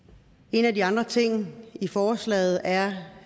en af de andre ting i forslaget er